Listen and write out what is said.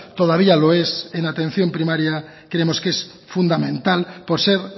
todavía lo es en atención primaria creemos que es fundamental por ser